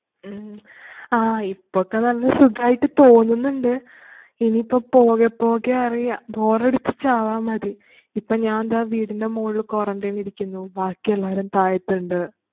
ഉം ആഹ് ഇപ്പൊ ഒക്കെ തന്നെ സുഖായിട്ട് തോന്നുന്നുണ്ട്. ഇനിയിപ്പോ പോകെ പോകെ അറിയാം. ബോറടിച്ചു ചാവാന്‍ മതി. ഇപ്പം ഞാന്‍ ദാ വീടിന്‍റെ മോളീല് quarantine ഇരിക്കുന്നു. ബാക്കിയെല്ലാരും താഴെത്ത്ണ്ട്.